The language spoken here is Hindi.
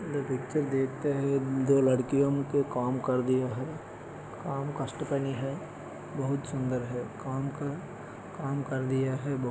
पिक्चर देखते हैं जो लड़कियों के काम कर दिया है काम कष्ट कनी है बहुत सुंदर है काम का काम कर दिया है बहु --